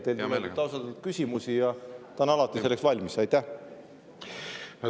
Teilt tulevad küsimused ja ta on alati valmis neile.